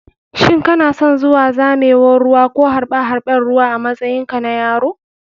Shin kanason zuwa zamewan ruwa ko harɓe harɓen ruwa a matsayin ka na yaro?